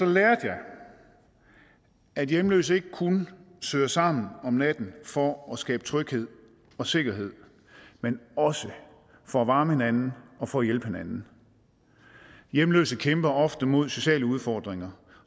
lærte jeg at hjemløse ikke kun søger sammen om natten for at skabe tryghed og sikkerhed men også for at varme hinanden og for at hjælpe hinanden hjemløse kæmper ofte mod sociale udfordringer